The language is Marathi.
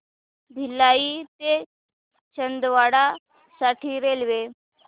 भिलाई ते छिंदवाडा साठी रेल्वे